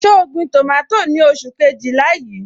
So gbin tomato ni oṣù Kejìlá yí?